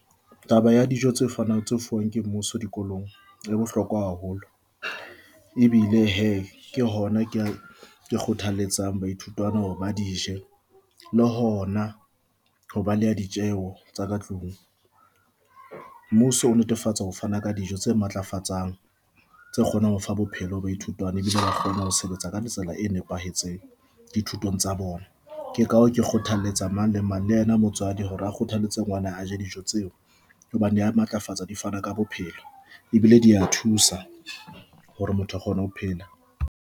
Taba ya dijo tse fanang tse fuwang ke mmuso dikolong e bohlokwa haholo. Ebile he ke hona ke ke kgothaletsa baithutwana hore ba dije le hona ho baleya ditjeho tsa ka tlung. Mmuso o netefatsa ho fana ka dijo tse matlafatsang, tse kgonang ho fa bophelo ho baithutwana ebile ba kgona ho sebetsa ka tsela e nepahetseng dithutong tsa bona. Ke ka hoo ke kgothalletsang mang le mang le ena motswadi hore a kgothaletse ngwana a je dijo tseo, hobane di a matlafatsa di fana ka bophelo ebile di a thusa hore motho a kgone ho phela.